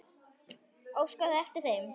Óskaði eftir þeim?